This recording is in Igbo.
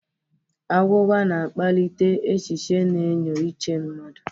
Agwụgwa na akpalịte echichi na enyo Uche mmadu.